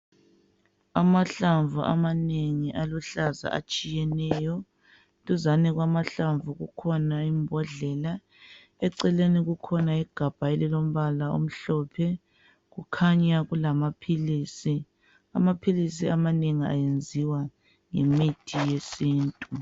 Amahlamvu amanengi aluhlaza atshiyeneyo, duzane kwamahlamvu kukhona imbhodlela. Eceleni kukhona igabha elilombala omhlophe kukhanya kulamaphisi, amaphilisi amanengi ayenziwa ngemithi yesintu.